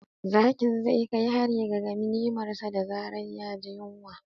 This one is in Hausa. Zakin zai kai hari ga ganimarsa da zarar ya ji yunwa.